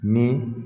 Ni